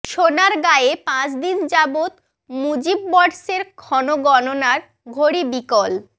সোনারগাঁয়ে পাঁচ দিন যাবৎ মুজিব বর্ষের ক্ষণগণনার ঘড়ি বিকল